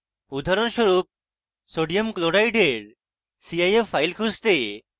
উদাহরণস্বরূপ sodium chloride for cif file খুঁজতে: